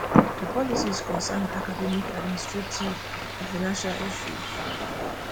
di policies concern academic administrative and financial issues